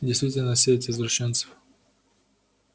действительно сеть извращенцев